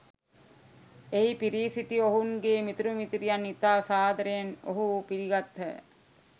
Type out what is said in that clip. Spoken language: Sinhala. එහි පිරී සිටි ඔවුන්ගේ මිතුරු මිතුරියන් ඉතා සාදරයෙන් ඔවුහු පිළිගත්හ.